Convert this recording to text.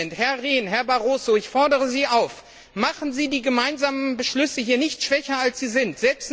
7 Herr Rehn, Herr Barroso, ich fordere Sie auf Machen Sie die gemeinsamen Beschlüsse hier nicht schwächer, als sie sind.